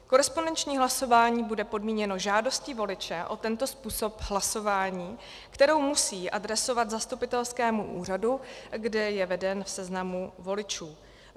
Korespondenční hlasování bude podmíněno žádostí voliče o tento způsob hlasování, kterou musí adresovat zastupitelskému úřadu, kde je veden v seznamu voličů.